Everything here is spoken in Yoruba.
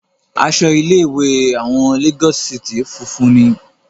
Aṣọ ilé ìwé àwọn Lagos city funfun ni.